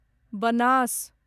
Banas